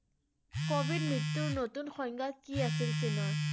covid মৃত্যুৰ নতুন সংজ্ঞা কি আছিল চীনৰ?